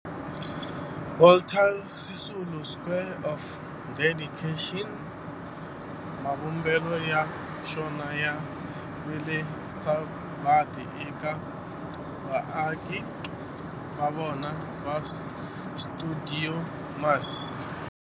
Walter Sisulu Square of Dedication, mavumbelo ya xona ya vile sagwadi eka vaaki va xona va stuidio MAS.